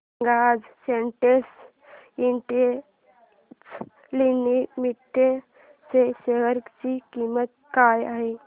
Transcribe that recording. सांगा आज Sintex industries limited च्या शेअर ची किंमत काय आहे